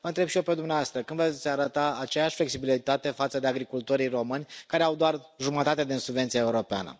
Vă întreb și eu pe dumneavoastră când veți arăta aceeași flexibilitate față de agricultorii români care au doar jumătate din subvenția europeană.